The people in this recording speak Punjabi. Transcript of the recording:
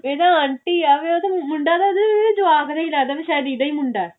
ਇਹ ਤਾਂ aunty ਆ ਮੁੰਡਾ ਤਾਂ ਹਜੇ ਜਵਾਕ ਹੀ ਲੱਗਦਾ ਕਿ ਸ਼ਾਇਦ ਇਹਦਾ ਹੀ ਮੁੰਡਾ